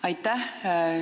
Aitäh!